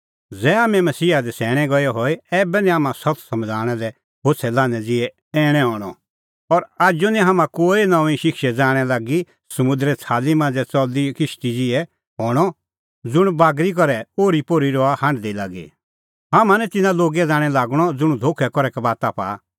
ज़ै हाम्हैं मसीहा दी सैणैं गऐ हई ऐबै निं हाम्हां सत्त समझ़णा लै होछ़ै लान्हैं ज़िहै ऐणैं हणअ और आजू निं हाम्हां कोई नऊंईं शिक्षे ज़ाणैं लागी समुंदरे छ़ाली मांझ़ै च़लदी किश्ती ज़िहै हणअ ज़ुंण बागरी करै ओर्हीपोर्ही रहा हांढदी लागी हाम्हां निं तिन्नां लोगे ज़ाणैं लागणअ ज़ुंण धोखै करै कबाता पाआ